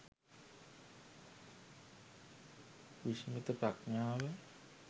විශ්මිත ප්‍රඥාව